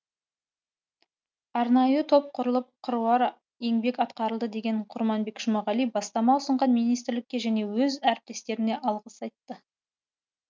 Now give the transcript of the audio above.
арнайы топ құрылып қыруар еңбек атқарылды деген құрманбек жұмағали бастама ұсынған министрлікке және өз әріптестеріне алғыс айтты